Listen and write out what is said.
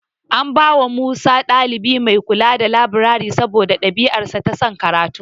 An bawa Musa ɗalibi mai kula da labirari saboda ɗabi'arsa ta son karatu.